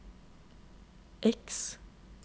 X